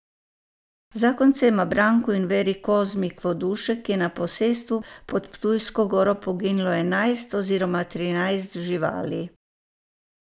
Zakoncema Branku in Veri Kozmik Vodušek je na posestvu pod Ptujsko goro poginilo enajst oziroma trinajst živali.